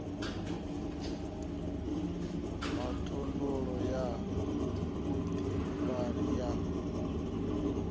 ha khoudu ya vhuḓifari ya